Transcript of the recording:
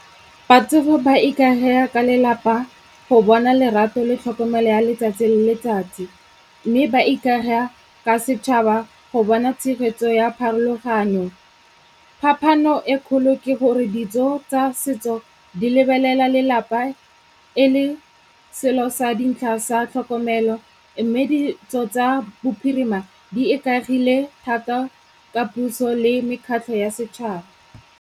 Batsofe ba ikaega ka lelapa go bona lerato le tlhokomelo ya letsatsi le letsatsi. Mme ba ikaga ka setšhaba go bona tshegetso ya pharologanyo. Phapano e kgolo ke gore ditso tsa setso di lebelela lelapa e le selo sa dintlha sa tlhokomelo mme ditso tsa bophirima di ikaegile thata ka puso le mekgatlho ya setšhaba.